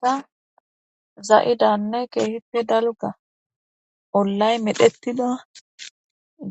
Ha zaidanne kehippe daliga olay medhetida